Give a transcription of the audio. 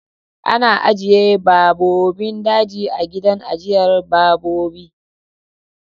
Ana ajjiye babbobin daji a gidan ajjiyar babbobi